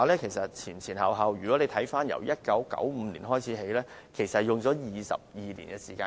前前後後，由1995年開始，花了22年時間。